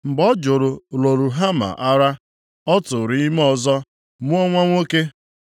Mgbe ọ jụrụ Lo-Ruhama ara, ọ tụụrụ ime ọzọ, mụọ nwa nwoke.